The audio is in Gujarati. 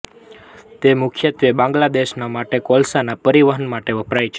તે મુખ્યત્વે બાંગ્લાદેશ માટે કોલસાના પરિવહન માટે વપરાય છે